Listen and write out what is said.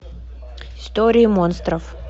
истории монстров